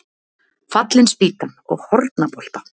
Fallin spýtan og Hornabolta.